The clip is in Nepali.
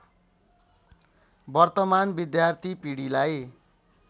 वर्तमान विद्यार्थी पिढीलाई